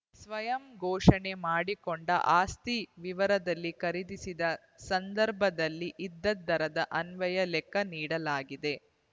ಸ್ವಯಂ ಘೋಷಣೆ ಮಾಡಿಕೊಂಡ ಆಸ್ತಿ ವಿವರದಲ್ಲಿ ಖರೀದಿಸಿದ ಸಂದರ್ಭದಲ್ಲಿ ಇದ್ದ ದರದ ಅನ್ವಯ ಲೆಕ್ಕ ನೀಡಲಾಗಿದೆ